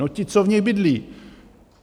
No ti, co v nich bydlí!